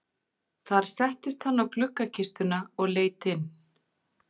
Þar settist hann á gluggakistuna og leit inn.